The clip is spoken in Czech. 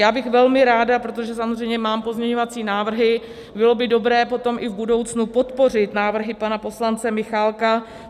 Já bych velmi ráda, protože samozřejmě mám pozměňovací návrhy, bylo by dobré potom i v budoucnu podpořit návrhy pana poslance Michálka.